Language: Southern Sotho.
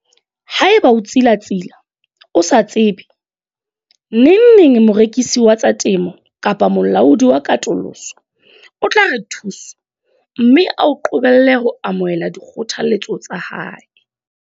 Haeba o tsilatsila, o sa tsebe, nengneng morekisi wa tsa temo kapa molaodi wa katoloso o tla re thoso, mme a o qobelle ho amohela dikgothaletso tsa hae.